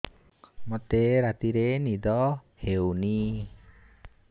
ମୋତେ ରାତିରେ ନିଦ ହେଉନି